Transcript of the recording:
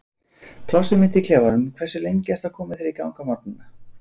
plássið mitt í klefanum Hversu lengi ertu að koma þér í gang á morgnanna?